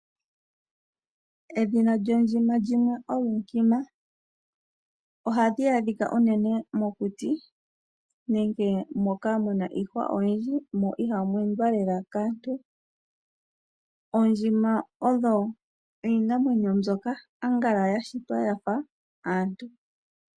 Edhina lyondjima limwe olunkima . Ohadhi adhika unene mokuti nenge moka muna iihwa oyindji mo ohamu enda lela kaantu . Oondjima odho iinamwenyo mbyoka yashitwa yafa aantu.